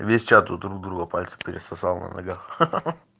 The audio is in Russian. весь чат у друг друга пальцы пересосал на ногах